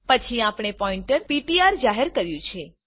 પછી આપણે pointer PTR જાહેર કર્યું છે